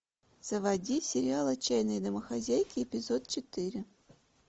заводи сериал отчаянные домохозяйки эпизод четыре